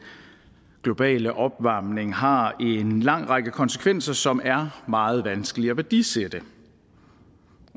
globale opvarmning har en lang række konsekvenser som er meget vanskelige at værdisætte